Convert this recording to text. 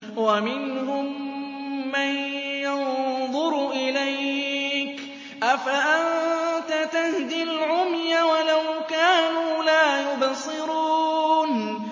وَمِنْهُم مَّن يَنظُرُ إِلَيْكَ ۚ أَفَأَنتَ تَهْدِي الْعُمْيَ وَلَوْ كَانُوا لَا يُبْصِرُونَ